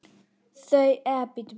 Þau voru heldur aldrei hrædd.